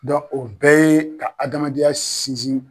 Dɔ o bɛɛ ye ka adamadenya sinsin